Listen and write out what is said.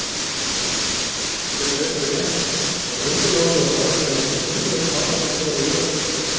Seðlabankar geta einnig reynt að hafa áhrif á það hve mikil fyrrgreind margfeldisáhrif eru.